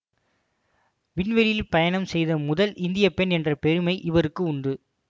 விண்வெளியில் பயணம் செய்த முதல் இந்தியப்பெண் என்ற பெருமை இவருக்கு உண்டு